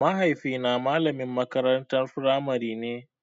Mahaifi na malamin makarantar firamare ne